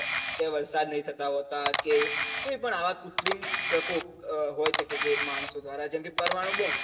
કે વરસાદ નહિ થતા હોતાં કે કોઈ પણ આવાં કુત્રિમ પ્રકોપ હોય શકે જે માણસો દ્વારા જેમ કે પરમાણું બોમ